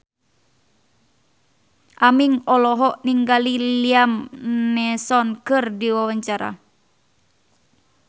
Aming olohok ningali Liam Neeson keur diwawancara